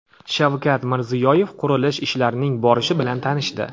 Shavkat Mirziyoyev qurilish ishlarining borishi bilan tanishdi.